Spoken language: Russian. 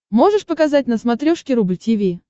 можешь показать на смотрешке рубль ти ви